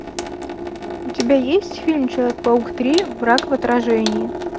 у тебя есть фильм человек паук три враг в отражении